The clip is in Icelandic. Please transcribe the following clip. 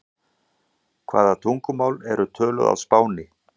Hvaða tungumál eru töluð á Spáni?